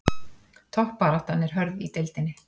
Toppbaráttan er hörð í deildinni